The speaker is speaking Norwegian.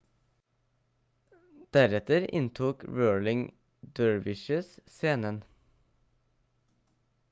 deretter inntok whirling dervishes scenen